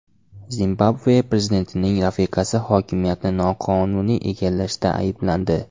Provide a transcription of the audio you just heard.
Zimbabve prezidentining rafiqasi hokimiyatni noqonuniy egallashda ayblandi.